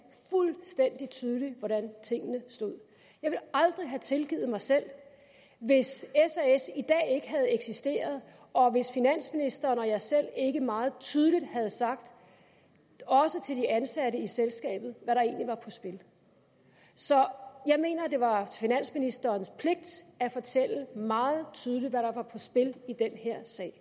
fuldstændig tydeligt hvordan tingene stod jeg ville aldrig have tilgivet mig selv hvis sas i dag ikke havde eksisteret og hvis finansministeren og jeg selv ikke meget tydeligt havde sagt også til de ansatte i selskabet hvad der egentlig var på spil så jeg mener det var finansministerens pligt at fortælle meget tydeligt hvad der var på spil i den her sag